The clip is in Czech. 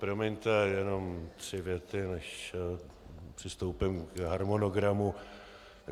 Promiňte, jenom tři věty, než přistoupím k harmonogramu.